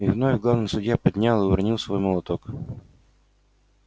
и вновь главный судья поднял и уронил свой молоток